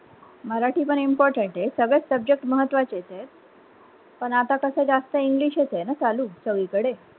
मराठी पण important हे सगळेच subject महात्वाचेचेत पण अता कस जास्त english च आहे ना चालू सगळीकढे.